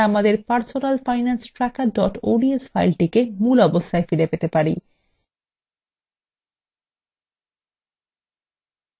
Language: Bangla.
এখন এই পরিবর্তনগুলি বাতিল করা যাক যাতে আমরা আমাদের personalfinancetracker ods ফাইলটিকে মূল অবস্থায় ফিরে পেতে পারি